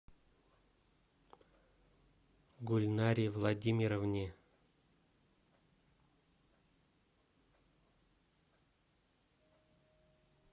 гульнаре владимировне